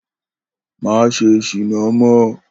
Má s̩e s̩ìná mó̩!